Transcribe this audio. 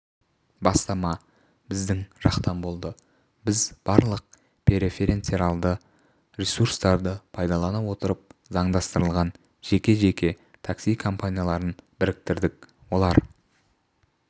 бастама біздің жақтан болды біз барлық преференцияларды ресурстарды пайдалана отырып заңдастырылған жеке-жеке такси-компанияларын біріктірдік олар